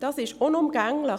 Dies ist unumgänglich.